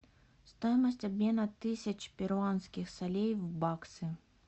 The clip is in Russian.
стоимость обмена тысяч перуанских солей в баксы